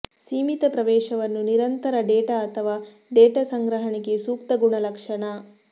ಸೀಮಿತ ಪ್ರವೇಶವನ್ನು ನಿರಂತರ ಡೇಟಾ ಅಥವಾ ಡೇಟಾ ಸಂಗ್ರಹಣೆಗೆ ಸೂಕ್ತ ಗುಣಲಕ್ಷಣ